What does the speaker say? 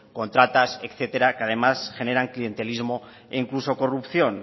contratas etcétera que además generan clientelismo e incluso corrupción